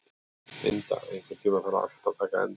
Inda, einhvern tímann þarf allt að taka enda.